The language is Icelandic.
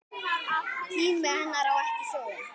Tími henni ekki á sjóinn!